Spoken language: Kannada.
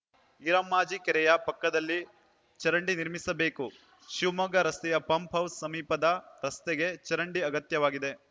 ಈರಮ್ಮಾಜಿ ಕೆರೆಯ ಪಕ್ಕದಲ್ಲಿ ಚರಂಡಿ ನಿರ್ಮಿಸಬೇಕು ಶಿವಮೊಗ್ಗ ರಸ್ತೆಯ ಪಂಪ್‌ ಹೌಸ್‌ ಸಮೀಪದ ರಸ್ತೆಗೆ ಚರಂಡಿ ಅಗತ್ಯವಾಗಿದೆ